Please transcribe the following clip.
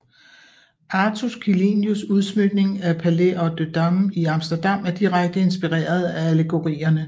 Artus Quellinus udsmykning af Paleis op de Dam i Amsterdam er direkte inspireret af allegorierne